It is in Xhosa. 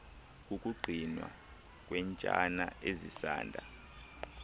kukugcinwa kweentsana ezisanda